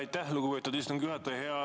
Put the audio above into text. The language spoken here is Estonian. Aitäh, lugupeetud istungi juhataja!